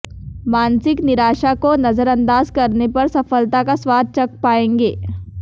मानसिक निराशा को नज़रअंदाज़ करने पर सफलता का स्वाद चख पाएंगे